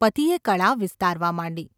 ’ પતિએ કળા વિસ્તારવા માંડી.